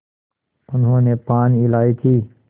उन्होंने पान इलायची